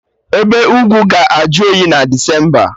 Ebe ugwu ga-ajụ oyi na Desemba